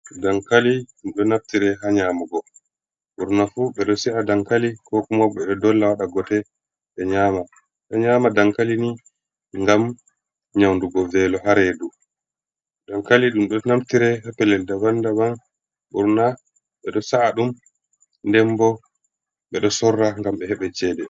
Dankali ɗum ɗo naftire haa nyaamugo. Ɓurna fu ɓe ɗo sa'a dankali ko kuma ɓe ɗo dolla waɗa gote ɓe nyama. Ɓe ɗo ɲyaama dankali ni, ngam nyaundugo velo haa reedu. Dankali ɗum ɗo naftire haa pellel daban-daban. Ɓurna ɓe ɗo sa’a ɗum nden bo ɓe ɗo sorra ngam ɓe heɓa ceede.